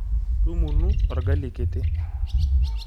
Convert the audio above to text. Tumunu orgali kiti.